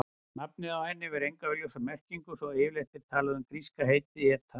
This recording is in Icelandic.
Nafnið á henni hefur enga augljósa merkingu svo yfirleitt er talað um gríska heitið eta.